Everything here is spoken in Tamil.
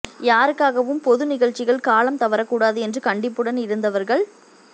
யாருக்காகவும் பொது நிகழ்ச்சிகள் காலம் தவறக்கூடாது என்று கண்டிப்புடன் இருந்தவர்கள்